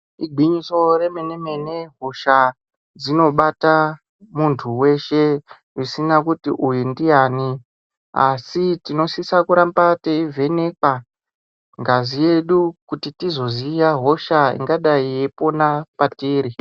Igwinyiso remenemene hosha dzinobata muntu weshe zvisina kuti uyu ndiyani. Asi tinosisa kuramba teivhenekwa ngazi yedu kuti tizoziya hosha ingadai yeipona patiri.